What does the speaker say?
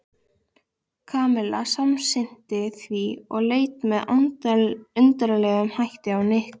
Kamilla samsinnti því og leit með undarlegum hætti á Nikka.